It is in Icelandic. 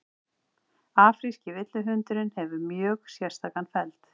afríski villihundurinn hefur mjög sérstakan feld